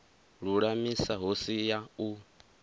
lulamisa hu si ya u